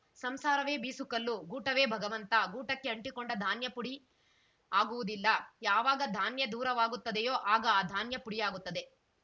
ಸಂಸಾರವೇ ಬೀಸುಕಲ್ಲು ಗೂಟವೇ ಭಗವಂತ ಗೂಟಕ್ಕೆ ಅಂಟಿಕೊಂಡ ಧಾನ್ಯ ಪುಡಿ ಆಗುವುದಿಲ್ಲ ಯಾವಾಗ ಧಾನ್ಯ ದೂರವಾಗುತ್ತದೆಯೋ ಆಗ ಆ ಧಾನ್ಯ ಪುಡಿಯಾಗುತ್ತದೆ